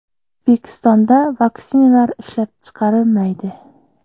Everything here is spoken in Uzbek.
O‘zbekistonda vaksinalar ishlab chiqarilmaydi.